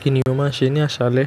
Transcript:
Kíni ó máa ń ṣe ní àṣálẹ́?